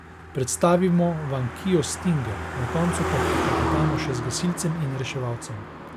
Predstavimo vam kio stinger, na koncu pa poklepetamo še z gasilcem in reševalcem.